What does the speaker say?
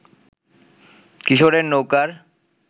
কিশোরের নৌকার